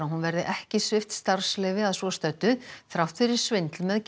hún verði ekki svipt starfsleyfi að svo stöddu þrátt fyrir svindl með